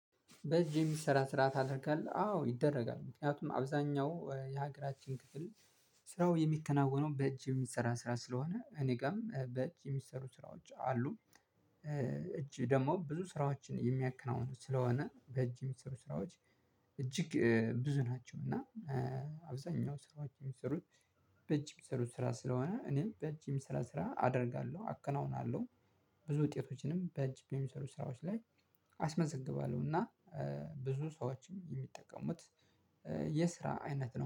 በእጅ የሚሰራ ስራ ታደርጋለህ አዎ ይደረጋል ምክንያቱም አብዛኛው የሀገራችን ክፍል ስራው የሚከናወነው በእጅ የሚሰራ ስራ ስለሆነ እኔ ጋርም በእጅ የሚሰሩ ስራዎች አሉ። እጅ ደግሞ ብዙ ስራዎችን የሚያከናውኑት ስለሆነ በእጅ የሚሰሩ ስራዎች እጅግ ብዙ ናቸው እና አብዛኛው ስራዎች የሚሰሩት በእጅ የሚሰሩት ስራ ስለሆነ እኔም በእጅ የሚሰራ ስራ አደርጋለሁ አከናውናለሁ። ብዙ ውጤቶችንም በእጅ በሚሰሩ ስራዎች ላይ አስመዘግባለሁ እና ብዙ ሰዎች የሚጠቀሙት የስራ አይነት ነው